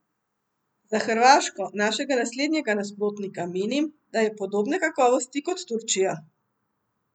Za Hrvaško, našega naslednjega nasprotnika, menim, da je podobne kakovosti kot Turčija.